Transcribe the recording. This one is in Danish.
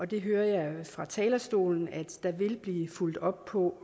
det hører jeg fra talerstolen at der vil blive fulgt op på